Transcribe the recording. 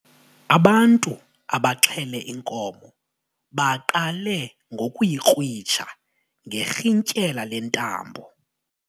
Ubantu abaxhele inkomo baqale ngokuyikrwitsha ngerhintyela lentambo.